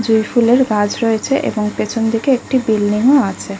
জুঁই ফুলের গাছ রয়েছে এবং পিছন দিকে একটি বিল্ডিং ও আছে।